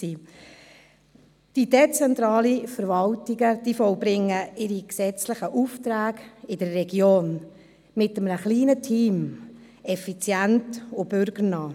Die dezentralen Verwaltungen vollbringen ihre gesetzlichen Aufträge in der Region mit einem kleinen Team, effizient und bürgernah.